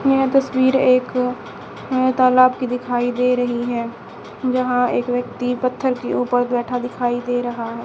यह तस्वीर एक तालाब की दिखाई दे रही है जहां एक व्यक्ति पत्थर के ऊपर बैठा दिखाई दे रहा है।